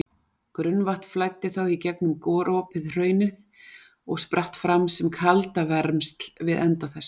Grunnvatn flæddi þá í gegnum gropið hraunið og spratt fram sem kaldavermsl við enda þess.